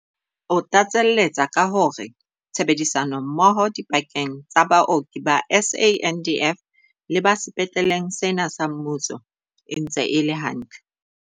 O tlatseletsa ka hore tshebedisano mmoho dipakeng tsa baoki ba SANDF le ba sepetleng sena sa mmuso e ntse e le hantle.